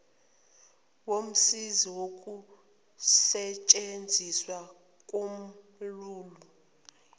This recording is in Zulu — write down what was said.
womsizi wokusetshenziswa komaulu